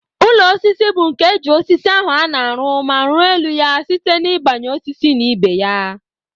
Ụlọ osisi bu nke eji osisi ahu ana arụ ma ruọ elu ya site na ibanye osisi na ibeya.